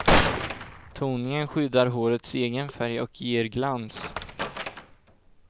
Toningen skyddar hårets egen färg och ger glans.